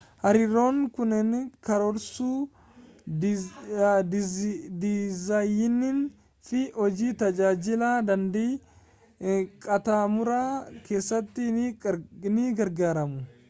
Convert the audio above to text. hariiroon kunneen karoorsuu dizaayinii fi hojii tajaajila daandii-qaxxaamuraa keessatti ni gargaaru